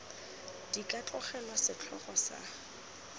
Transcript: di ka tlogelwa setlhogo sa